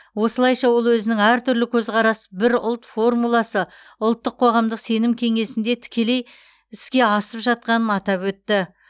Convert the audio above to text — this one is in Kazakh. осылайша ол өзінің әртүрлі көзқарас бір ұлт формуласы ұлттық қоғамдық сенім кеңесінде тікелей іске асып жатқанын атап өтті